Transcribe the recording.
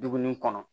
Dumuni kɔnɔ